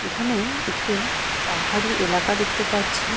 এখানে-এ একটি পাহাড়ি এলাকা দেখতে পাচ্ছি।